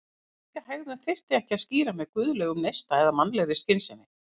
En slíka hegðun þyrfti ekki að skýra með guðlegum neista eða mannlegri skynsemi.